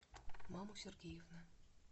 маму сергеевна